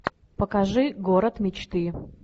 покажи город мечты